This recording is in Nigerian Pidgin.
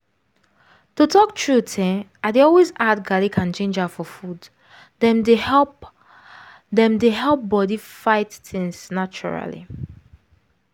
to talk truth[um]i dey always add garlic and ginger for food — dem dey help dem dey help body fight things naturally